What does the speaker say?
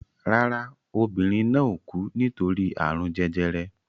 Rárá, obìnrin náà ò kú nítorí àrùn jẹjẹrẹ